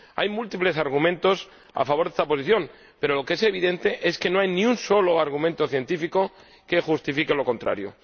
Hay múltiples argumentos a favor de esta posición, pero lo que es evidente es que no hay ni un solo argumento científico que justifique lo contrario.